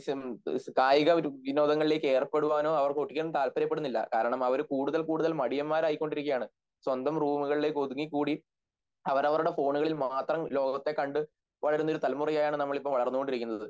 കായികവിനോദങ്ങളിലേക്ക് ഏർപ്പെടുവാനോ അവർക്ക് താല്പര്യപ്പെടുന്നില്ല കാരണം അവർ കൂടുതൽ കൂടുതൽ മടിയന്മാരായിക്കൊണ്ടിരിക്കാണ് സ്വന്തം റൂമുകളിലേക്കൊതുങ്ങിക്കൂടി അവരവരുടെ ഫോണിൽ മാത്രം ലോകത്തെ കണ്ട് വളരുന്നൊരു തലമുറയെയാണ് നമ്മളിപ്പോൾ വളർന്നുകൊണ്ടിരിക്കുന്നു